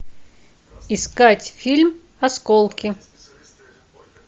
искать фильм осколки